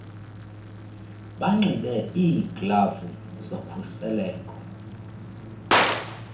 banxibe iiglavu zokhuseleko